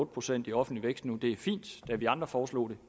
procent i offentlig vækst nu er fint da vi andre foreslog det